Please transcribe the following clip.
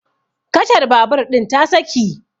kacar babur ɗin ta saki